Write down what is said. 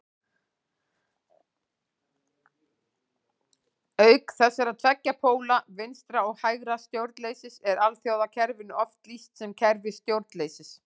Auk þessara tveggja póla vinstra- og hægra stjórnleysis er alþjóðakerfinu oft lýst sem kerfi stjórnleysis.